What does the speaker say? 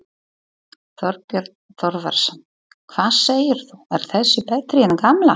Þorbjörn Þórðarson: Hvað segirðu, er þessi betri en gamla?